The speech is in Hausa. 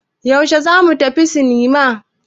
Yaushe za mu tafi sinima?